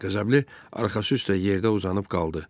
Qəzəbli arxası üstə yerdə uzanıb qaldı.